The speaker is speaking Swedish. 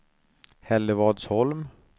Hällevadsholm